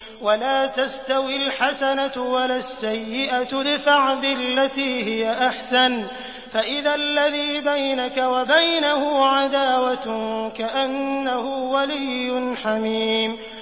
وَلَا تَسْتَوِي الْحَسَنَةُ وَلَا السَّيِّئَةُ ۚ ادْفَعْ بِالَّتِي هِيَ أَحْسَنُ فَإِذَا الَّذِي بَيْنَكَ وَبَيْنَهُ عَدَاوَةٌ كَأَنَّهُ وَلِيٌّ حَمِيمٌ